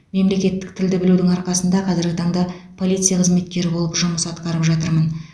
мемлекеттік тілді білудің арқасында қазіргі таңда полиция қызметкері болып жұмыс атқарып жатырмын